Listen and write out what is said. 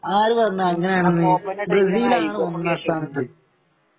ആര് പറഞ്ഞു അങ്ങനെയാണെന്ന് ബ്രസീലാണ് ഒന്നാം സ്ഥാനത്ത്